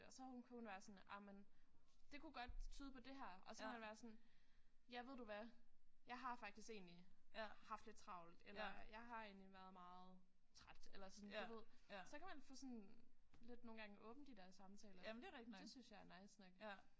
Og så hun kunne hun være sådan ej men det kunne godt tyde på det her og så kunne man være sådan ja ved du hvad jeg har faktisk egentlig haft lidt travlt eller jeg har egentlig været meget træt eller sådan du ved så kan man få sådan lidt nogle gange åbnet de der samtaler. Det synes jeg er nice nok